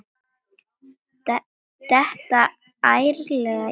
Detta ærlega í það.